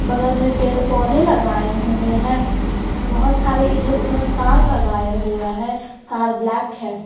बगल में पेड़ पौधे लगाए हुए हैं बहोत सारे इधर उधर तार लगाए हुए हैं तार ब्लैक है।